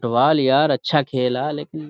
دھوال یار اچھا کھلا لیکن --